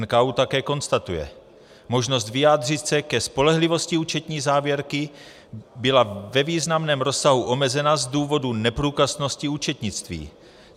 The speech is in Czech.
NKÚ také konstatuje: Možnost vyjádřit se ke spolehlivosti účetní závěrky byla ve významném rozsahu omezena z důvodu neprůkaznosti účetnictví.